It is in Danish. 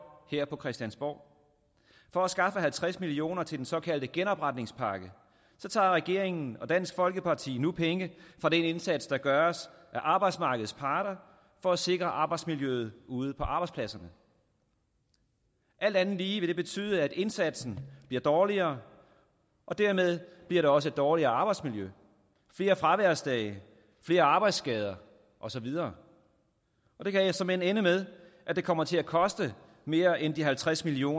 her på christiansborg for at skaffe halvtreds million kroner til den såkaldte genopretningspakke tager regeringen og dansk folkeparti nu penge fra den indsats der gøres af arbejdsmarkedets parter for at sikre arbejdsmiljøet ude på arbejdspladserne alt andet lige vil det betyde at indsatsen bliver dårligere og dermed bliver der også et dårligere arbejdsmiljø flere fraværsdage flere arbejdsskader og så videre det kan såmænd ende med at det kommer til at koste mere end de halvtreds million